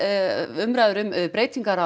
umræður um breytingar